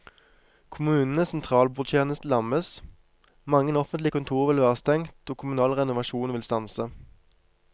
Kommunenes sentralbordtjeneste lammes, mange offentlige kontorer vil være stengt og kommunal renovasjon vil stanse.